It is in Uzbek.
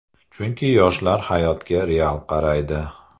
Chunki yoshlar hayotga real qaraydi.